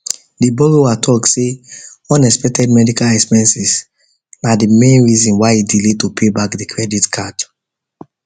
the borrower talk say unexpected medical expenses na the main reason why e delay to pay back the credit card